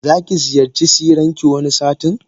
Zaki ziyarci siranki wani satin.